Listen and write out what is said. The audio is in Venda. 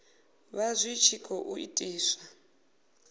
vha zwi tshi khou itiswa